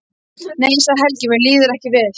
Nei, sagði Helgi, mér líður ekki vel.